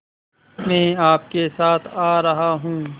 मैं आपके साथ आ रहा हूँ